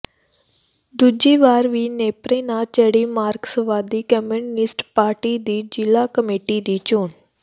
ਦੂਜੀ ਵਾਰ ਵੀ ਨੇਪਰੇ ਨਾ ਚੜ੍ਹੀ ਮਾਰਕਸਵਾਦੀ ਕਮਿਊਨਿਸਟ ਪਾਰਟੀ ਦੀ ਜ਼ਿਲ੍ਹਾ ਕਮੇਟੀ ਦੀ ਚੋਣ